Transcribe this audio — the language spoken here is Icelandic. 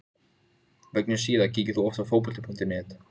Ég ætlaði líka að vera viðstaddur fæðingu dóttur minnar.